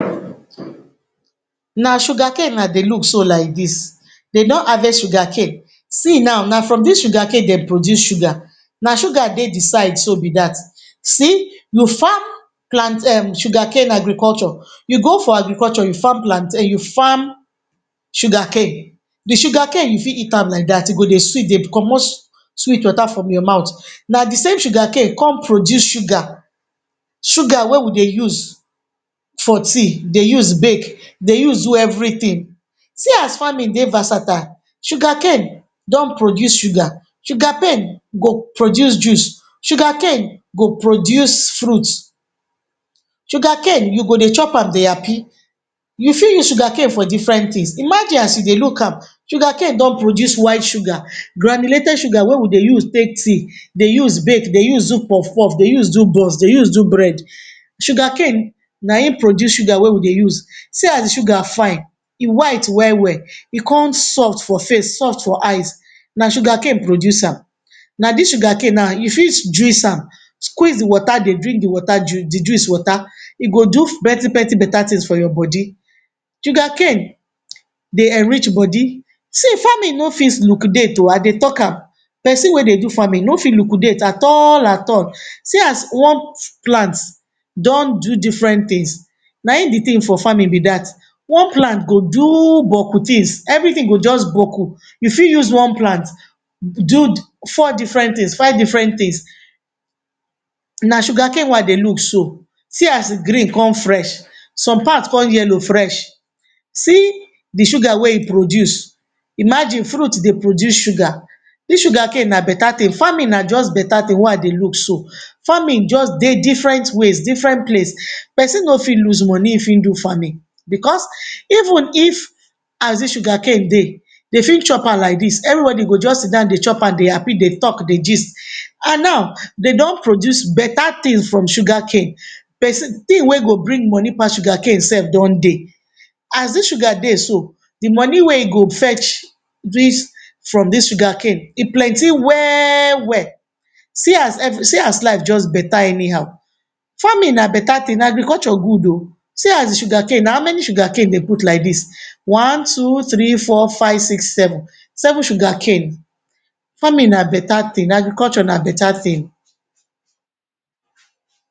Na sugarcane I dey look so like dis. De don harvest sugarcane. See nau, na from dis sugarcane de produce sugar. Na sugar dey di sides so be dat. See, you farm plant um sugarcane agriculture, you go for agriculture you farm plantain, you farm sugarcane, di sugarcane you fit eat am like dat. E go dey sweet, dey comot sweet water from your mouth. Na di same sugarcane come produce sugar, sugar wey we dey use for tea, dey use bake, dey use do everytin. See as farming dey versatile. Sugarcane don produce sugar, sugarpain go produce juice, sugarcane go produce fruit. Sugarcane, you go dey chop am dey happy. You fit use sugarcane for different tins. Imagine as you dey look am, sugarcane don produce white sugar, granulated sugar wey we dey use take tea, dey use bake, dey use do puff-puff, dey use do buns, dey use do bread. Sugarcane na ein produce sugar wey we dey use. See as di sugar fine, e white well-well. E con soft for face, soft for eyes, na sugarcane produce am. Na dis sugarcane nau you fit juice am. Squeeze di water, dey drink di water di juice water. E go do plenti-plenti beta tins for your bodi. Sugarcane dey enrich bodi. See farming no fit liquidate oh, I dey talk am. Pesin wey dey do farming no fit liquidate at all at all. See as one plant don do different tins, na ein di tin for farming be dat. One plant go do boku tins, everytin go juz boku. You fit use one plant do four different tins, five different tins. Na sugarcane wey I dey look so. See as e green con fresh, some part con yellow fresh. See di sugar wey e produce. Imagine fruit dey produce sugar. Dis sugarcane na beta tin. Farming na juz beta tin wey I dey look so. Farming juz dey different ways, different place. Pesin no fit lose money if ein do farming. Becos even if as dis sugarcane dey, de fit chop an like dis. Everybodi go juz sit down, dey chop an, dey happy, dey talk, dey gist. And now, dey don produce beta tin from sugarcane. tin wey go bring money pass sugarcane sef don dey. As dis sugar dey so, di money wey e go fetch dis from dis sugarcane, e plenti well-well. See as See as life juz beta anyhow. Farming na beta tin; agriculture good oh. See as di sugarcane, na how many sugarcane dey put like dis? One, two, three, four, five, six, seven. Seven sugarcane. Farming na beta tin; agriculture na beta tin.